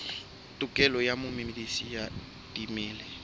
tokelo ya momedisi wa dimela